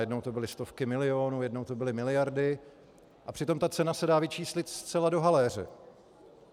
Jednou to byly stovky milionů, jednou to byly miliardy, a přitom ta cena se dá vyčíslit zcela do haléře.